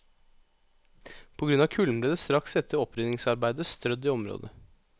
På grunn av kulden, ble det straks etter opprydningsarbeidet strødd i området.